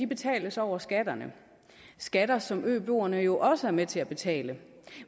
betales over skatterne skatter som øboerne jo også er med til at betale